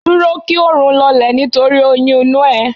Dúró kí oòrùn lọlẹ̀ nítorí oyún inú ẹ